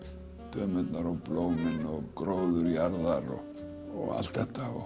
dömurnar og blómin og gróður jarðar og allt þetta